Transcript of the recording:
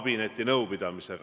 Mis need on?